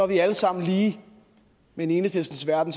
vi alle sammen lige men i enhedslistens verden